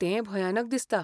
तें भयानक दिसता.